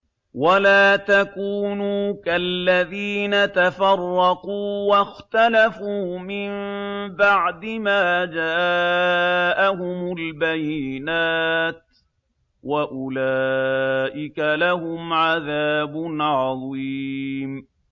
وَلَا تَكُونُوا كَالَّذِينَ تَفَرَّقُوا وَاخْتَلَفُوا مِن بَعْدِ مَا جَاءَهُمُ الْبَيِّنَاتُ ۚ وَأُولَٰئِكَ لَهُمْ عَذَابٌ عَظِيمٌ